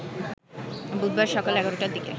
বুধবার সকাল ১১টার দিকে